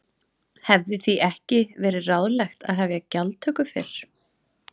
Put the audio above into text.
Hefði því ekki verið ráðlegt að hefja gjaldtöku fyrr?